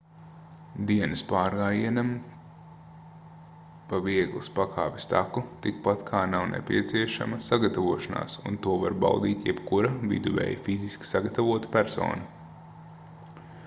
dienas pārgājienam pa vieglas pakāpes taku tikpat kā nav nepieciešama sagatavošanās un to var baudīt jebkura viduvēji fiziski sagatavota persona